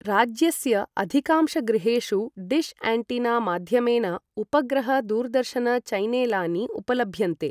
राज्यस्य अधिकांशगृहेषु dish antenna माध्यमेन उपग्रह दूरदर्शन चैनेलानि उपलभ्यन्ते ।